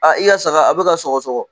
Aa i ya saga a bɛ ka sɔgɔ sɔgɔ.